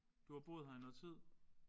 Du har boet her i noget tid?